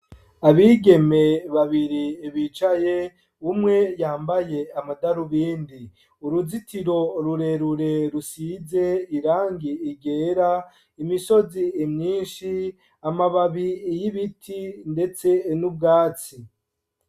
Abigeme babiri bicaye umwe yambaye amadarubindi ,uruzitiro rurerure rusize irangi ryera ,imisozi myinshi ,amababi y'ibiti ndetse n'ubwatsi.